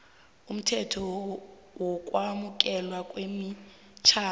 umthetho wokwamukelwa kwemitjhado